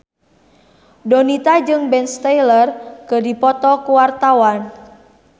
Donita jeung Ben Stiller keur dipoto ku wartawan